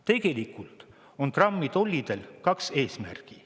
Tegelikult on Trumpi tollidel kaks eesmärki.